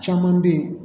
Caman bɛ yen